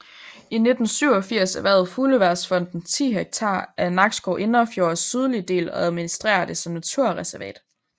I 1987 erhvervede Fugleværnsfonden 10 hektar af Nakskov Indrefjords sydlige del og administrerer det som naturreservat